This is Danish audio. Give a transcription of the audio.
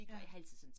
Ja